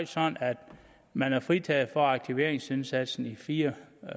sådan at man er fritaget for aktiveringsindsatsen i fire